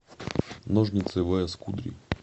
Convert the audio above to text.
ножницы вээс кудри